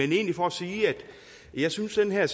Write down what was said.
egentlig for at sige at jeg synes at den her